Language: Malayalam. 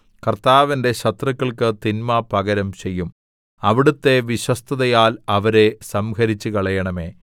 കർത്താവ് എന്റെ ശത്രുക്കൾക്ക് തിന്മ പകരം ചെയ്യും അവിടുത്തെ വിശ്വസ്തതയാൽ അവരെ സംഹരിച്ചുകളയണമേ